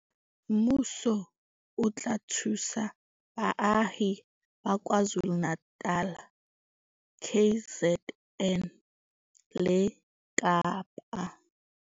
Mmuso o tla thusa baahi ba KwaZulu-Natal KZN le Kapa.